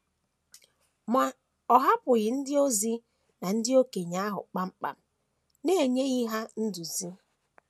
Ma, ọ hapụghị ndị ozi na ndị okenye ahụ kpam kpam n’enyeghị ha nduzi.